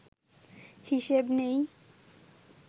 হিসেব নেই